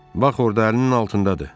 Bax orda əlinin altındadır.